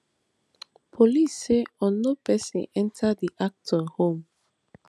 police say unknown pesin enta di actor home